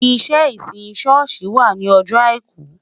Iṣẹ́ ìsìn ṣọ́ọ̀ṣì wà ní ọjọ́ Àìkú